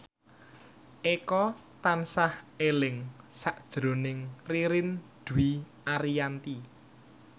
Eko tansah eling sakjroning Ririn Dwi Ariyanti